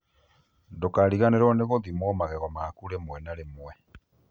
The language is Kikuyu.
Ndũkariganĩrwo nĩ gũthimwo magego maku rĩmwe na rĩmwe